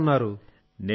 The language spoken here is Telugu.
మీరెలా ఉన్నారు